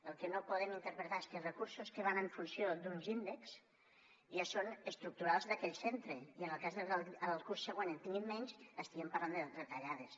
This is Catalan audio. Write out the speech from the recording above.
el que no podem interpretar és que els recursos que van en funció d’uns índexs ja són estructurals d’aquell centre i que en el cas de que el curs següent en tinguin menys estiguem parlant de retallades